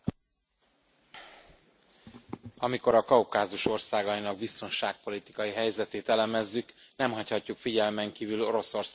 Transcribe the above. Elnök Úr! Amikor a Kaukázus országainak biztonságpolitikai helyzetét elemezzük, nem hagyhatjuk figyelmen kívül Oroszország lépéseit és mozgását.